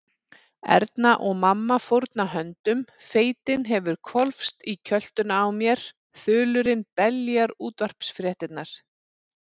Erna og mamma fórna höndum, feitin hefur hvolfst í kjöltuna á mér, þulurinn beljar útvarpsfréttirnar.